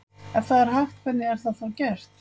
Ef það er hægt hvernig er það þá gert?